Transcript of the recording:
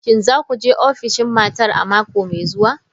Shin za ku je ofishin matar a mako mai zuwa?